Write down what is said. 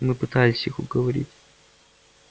мы пытались их уговорить